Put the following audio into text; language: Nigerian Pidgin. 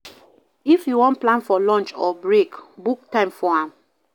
If you won plan for launch or break book time for am